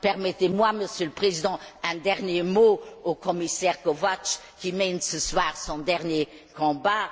Permettez moi, Monsieur le Président, d'adresser un dernier mot au commissaire Kovács, qui mène ce soir son dernier combat.